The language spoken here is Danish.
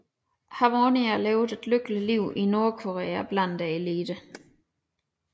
Harmonia levede et lykkeligt liv i Nordkorea blandt eliten